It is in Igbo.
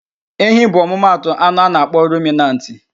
Ehi bụ ọmụmatụ anụ a na-akpọ ruminantị.